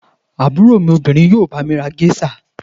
Àbúrò mi obìnrin yóò bá mi ra géíṣà.